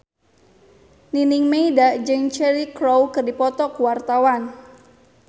Nining Meida jeung Cheryl Crow keur dipoto ku wartawan